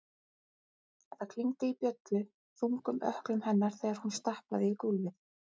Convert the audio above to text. Það klingdi í bjöllu- þungum ökklum hennar þegar hún stappaði í gólfið.